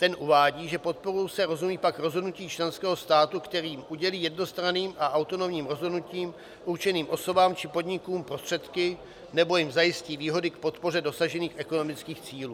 Ten uvádí, že podporou se rozumí pak rozhodnutí členského státu, kterým udělí jednostranným a autonomním rozhodnutím určeným osobám či podnikům prostředky nebo jim zajistí výhody k podpoře dosažených ekonomických cílů.